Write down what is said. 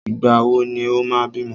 Ìgbà wò ni o máa bímọ?